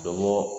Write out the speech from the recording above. Dɔ bɔ